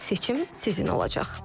Seçim sizin olacaq.